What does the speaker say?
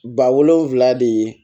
Ba wolonfila de ye